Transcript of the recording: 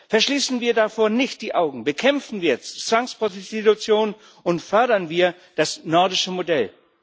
Verschließen wir davor nicht die Augen, bekämpfen wir jetzt Zwangsprostitution und fördern wir das nordische Modell.